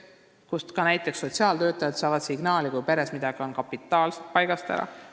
See on koht, kust ka näiteks sotsiaaltöötajad saavad signaali, kui peres on midagi kapitaalselt paigast ära.